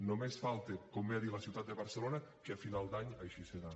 només falta com bé ha dit la ciutat de barcelona que a final d’any així serà